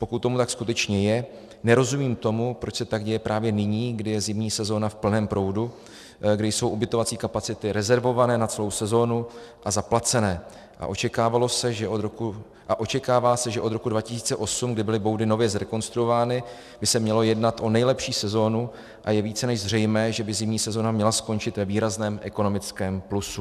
Pokud tomu tak skutečně je, nerozumím tomu, proč se tak děje právě nyní, kdy je zimní sezóna v plném proudu, kdy jsou ubytovací kapacity rezervovány na celou sezónu a zaplacené a očekává se, že od roku 2008, kdy byly boudy nově zrekonstruovány, by se mělo jednat o nejlepší sezónu a je více než zřejmé, že by zimní sezóna měla skončit ve výrazném ekonomickém plusu.